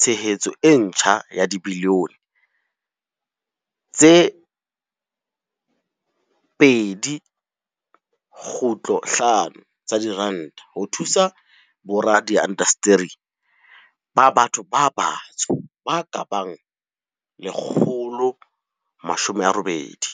tshehetso e ntjha ya dibilione tse 2.5 tsa diranta ho thusa boradiindasteri ba batho ba batsho ba ka bang 180.